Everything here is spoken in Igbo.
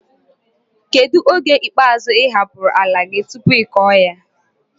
kedu oge ikpazu iapuru ala gi tupu iko ya?